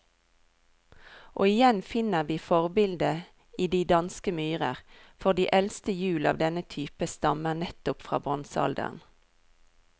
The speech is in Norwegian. Og igjen finner vi forbildet i de danske myrer, for de eldste hjul av denne type stammer nettopp fra bronsealderen.